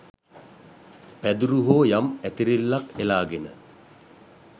පැදුරු හෝ යම් ඇතිරිල්ලක් එලාගෙන